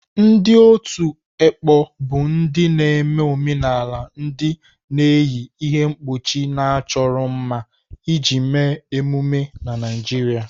Ndị otu ekpo bụ ndị na-eme omenala ndị na-eyi ihe mkpuchi na-achọro mma iji mee emume na Naijiria.